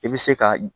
I bɛ se ka